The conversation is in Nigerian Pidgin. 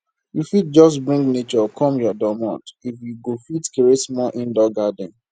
you fit just bring nature come your domot if you go fit create small indoor garden